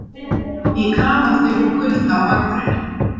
Í kafaldi og kulda á Akureyri